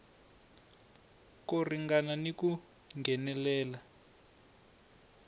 ko ringana ni ku nghenelela